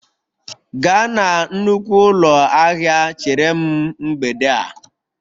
Gaa na nnukwu ụlọ ahịa chere m mgbede a!